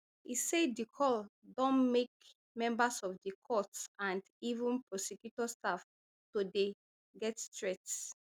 e say di call don make members of di court and even prosecutor staff to dey get threats